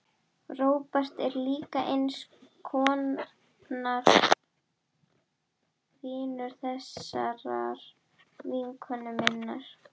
Róbert er líka eins konar vinur þessarar vinkonu minnar.